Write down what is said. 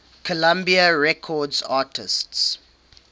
columbia records artists